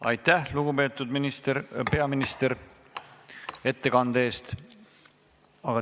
Aitäh, lugupeetud peaminister, ettekande eest!